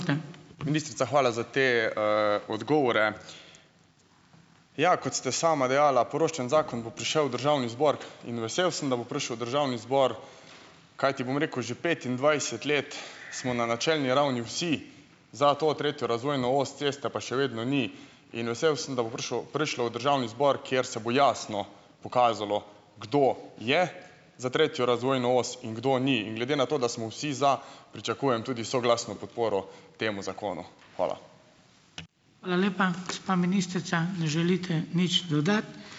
Ministrica, hvala za te, odgovore. Ja, kot ste sama dejala, poroštven zakon bo prišel v državni zbor in vesel sem, da bo prišel v državni zbor, kajti, bom rekel, že petindvajset let smo na načelni ravni vsi za to tretjo razvojno os, ceste pa še vedno ni. In vesel sem, da bo prišel, prišlo v državni zbor, kjer se bo jasno pokazalo, kdo je za tretjo razvojno os in kdo ni. In glede na to, da smo vsi za, pričakujem tudi soglasno podporo temu zakonu. Hvala.